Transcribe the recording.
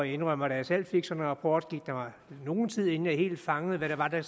indrømmer at da jeg selv fik sådan en rapport gik der nogen tid inden jeg helt fangede hvad det var der